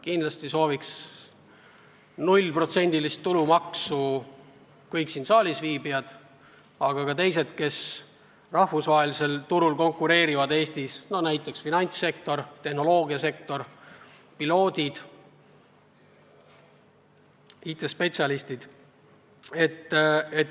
Kindlasti sooviks nullprotsendilist tulumaksu kõik siin saalis viibijad, samuti kõik, kes Eestis rahvusvahelisel turul konkureerivad: finantssektor, tehnoloogiasektor, piloodid, IT-spetsialistid.